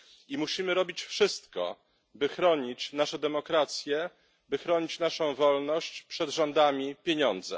I musimy robić wszystko, by chronić nasze demokracje, by chronić naszą wolność przed rządami pieniądza.